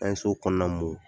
An ye so kɔnɔna mun.